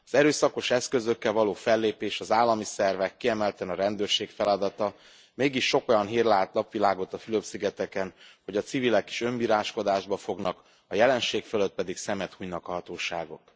Az erőszakos eszközökkel való fellépés az állami szervek, kiemelten a rendőrség feladata, mégis sok olyan hír lát napvilágot a Fülöp szigeteken, hogy a civilek is önbíráskodásba fognak, a jelenség fölött pedig szemet hunynak a hatóságok.